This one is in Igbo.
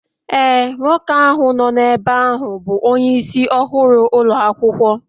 Ee, nwoke ahụ nọ n'ebe bụ onyeisi ọhụrụ ụlọ akwụkwọ